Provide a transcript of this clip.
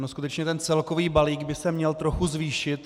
On skutečně ten celkový balík by se měl trochu zvýšit.